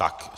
Tak.